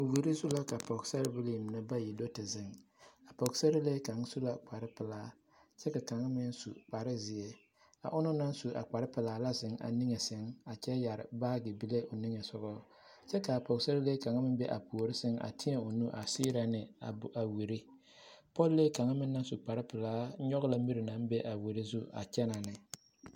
Wiri zu la ka pɔɡesarebilii mine bayi do te zeŋ a pɔɡesarelee kaŋ su la kparpelaa kyɛ ka kaŋ meŋ su kparzeɛ a onaŋ naŋ su a kparpelaa la zeŋ a niŋe sɛŋ a kyɛ yɛre baaɡe bile o niŋe soɡaŋ kyɛ ka a pɔɡesarelee kaŋ meŋ be a puori sɛŋ a tēɛ o nu a seerɛ ne a wiri pɔlee kaŋ meŋ naŋ su kparpelaa nyɔɡe la miri naŋ be a wiri zu a kyɛnɛ ne.